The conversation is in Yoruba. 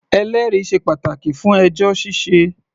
Ẹlẹ́rìí sé pàtàkì fún ẹjọ́ ṣíṣẹ.